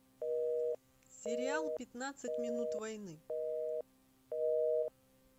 сериал пятнадцать минут войны